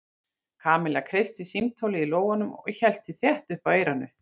Kamilla kreisti símtólið í lófanum og hélt því þétt upp að eyranu.